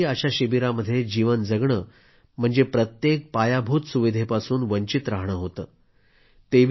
त्यांच्यासाठी अशा शिबिरामध्ये जीवन कंठणं म्हणजे प्रत्येक पायाभूत सुविधेपासून वंचित राहणं होतं